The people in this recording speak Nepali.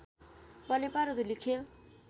बनेपा र धुलिखेल